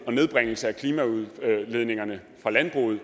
en nedbringelse af klimaudledningerne fra landbruget